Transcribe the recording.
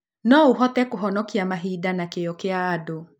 No ũhote kũhonokia mahinda na kĩyo kĩa andũ